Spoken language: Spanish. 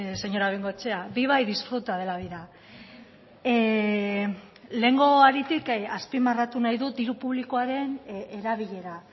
señora bengoechea viva y disfruta de la vida lehengo haritik azpimarratu nahi dut diru publikoaren erabilera